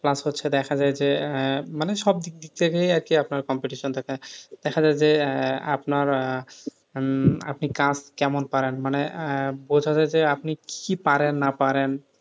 Plus হচ্ছে দেখা যায় যে মানে সবদিক থেকে আপনার competition থাকে দেখা যায় যে আপনার আহ হম আপনি কাজ কেমন পারেন মানে বোঝা যাই যে আপনি কি পারেন না পারেন,